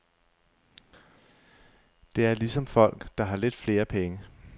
Det er ligesom folk, der har lidt flere penge.